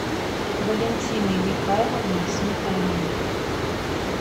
валентиной михайловной сметаниной